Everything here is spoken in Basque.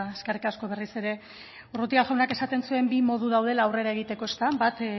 eskerrik asko berriz ere urrutia jaunak esaten zuen bi modu daudela aurrera egiteko bat